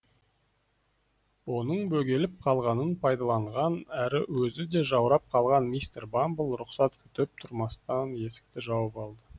оның бөгеліп қалғанын пайдаланған әрі өзі де жаурап қалған мистер бамбл рұқсат күтіп тұрмастан есікті жауып алды